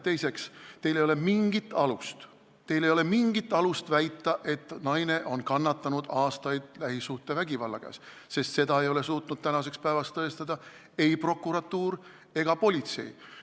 Teiseks, teil ei ole mingit alust väita, et see naine on aastaid lähisuhtevägivalla käes kannatanud, sest seda ei ole suutnud tänaseks päevaks tõestada ei prokuratuur ega politsei.